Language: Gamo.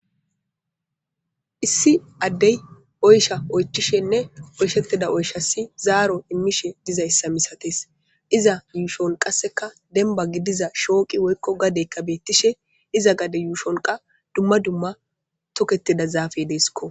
Issi addey oysha oychishenne oyshetida oyshasi zaaro immishe dizayssa misates iza yuushon qasseka demba gidiza shooqi woykko gadeykka beettishe iza gade yuushonqa dumma dumma toketida zaafey deesko